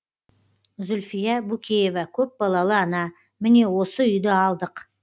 зүлфия букеева көпбалалы ана міне осы үйді алдық